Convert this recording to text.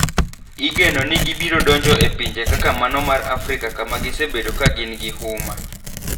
Igeno ni gibiro donjo e pinje kaka mano mar Afrika kama gisebedo ka gin gi huma.